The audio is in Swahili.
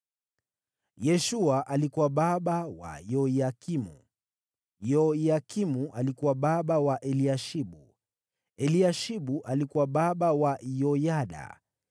Yeshua alikuwa baba wa Yoyakimu, Yoyakimu alikuwa baba wa Eliashibu, Eliashibu alikuwa baba wa Yoyada,